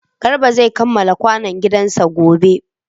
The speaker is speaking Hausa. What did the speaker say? Garba zai kamala kwanon gidan sa gobe